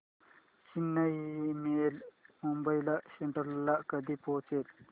Chennai mail Mumbai central ला कधी पोहचेल